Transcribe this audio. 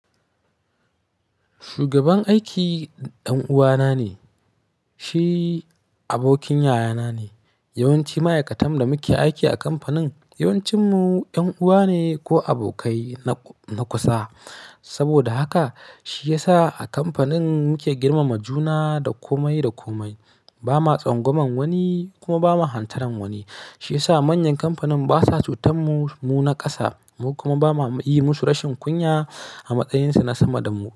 Shugaban aiki ɗan uwa na ne, shi abokin yayana ne. Yawanci ma'aikatan da muke aiki a kamfanin yawancin mu ƴan uwa ne ko abokai na, na kusa. Saboda haka shi yasa a kamfanin muke girmama juna da komai da komai. Ba ma tsangwaman wani kuma ba ma hantaran wani. Shi yasa manyan kamfanin basa cutar mu, mu na ƙasa. Mu kuma ba ma yi musu rashin kunya a matsayin su na sama dan mu.